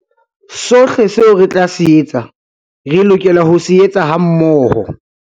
Sohle seo re tla se etsa, re lokela ho se etsa hammoho.